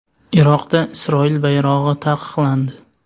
Iroqda Isroil bayrog‘i taqiqlandi.